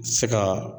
Se ka